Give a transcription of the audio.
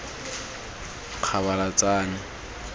kgabalatsane